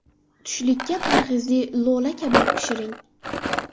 Tushlikka parhezli lo‘la-kabob pishiring.